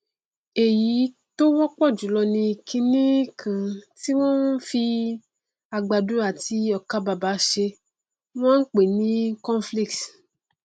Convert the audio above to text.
èyí tó wọpọ jùlọ ni kiní kan tí wọn fi àgbàdo àbí ọkàbàbà ṣe tí wọn n pè ni cornflakes